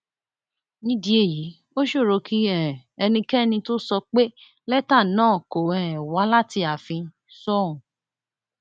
nídìí èyí ó ṣòro kí um ẹnikẹni tóo sọ pé lẹtà náà kò um wá láti ààfin sóun